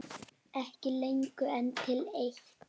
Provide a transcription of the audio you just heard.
Ekki lengur en til eitt.